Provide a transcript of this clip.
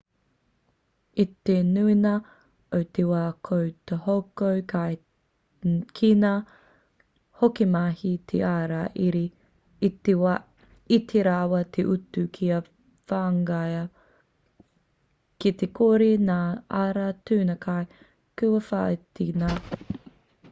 i te nuinga o te wā ko te hoko kai ki ngā hokomahi te ara iti rawa te utu kia whangaia ki te kore ngā ara tunu kai kua whāiti ngā kōwhiringa ki ngā kai kua whakaritea kētia